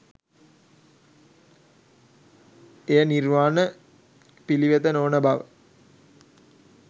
එය නිර්වාණ පිළිවෙත නොවන බව